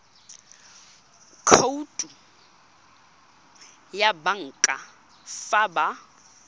khoutu ya banka fa ba